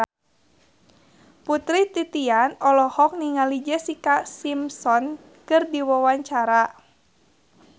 Putri Titian olohok ningali Jessica Simpson keur diwawancara